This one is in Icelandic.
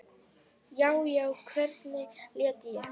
Já, já, hvernig læt ég!